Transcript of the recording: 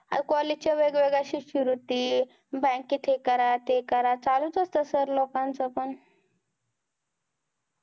अरे college च्या वेगवेगळ्या शिष्यवृत्ती, bank हे करा ते करा चालू च असत sir लोकांच पण हो